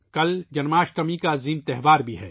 کل جنم اشٹمی کا عظیم تہوار بھی ہے